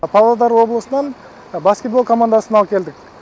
павлодар облысынан баскетбол командасын алып келдік